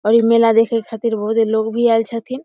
और इ मेला देखे खातिर बहुत ही लोग भी आल छथिन।